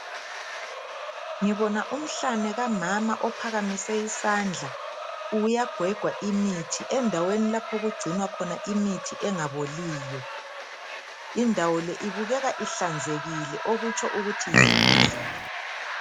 Ngibona umhlane kamama ophakamise isandla. Uyagwega imithi endaweni lapho okugcinwa khona imithi engaboliyo. Indawo le ibukeka inhlanzekile okutsho ukuthi yisibhedlela